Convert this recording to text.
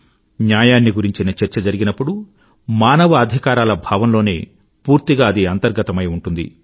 న్యాయాన్ని గురించిన చర్చ జరిగినప్పుడు మానవ అధికారాల భావంలోనే పూర్తిగా అది అంతర్గతమై ఉంటుంది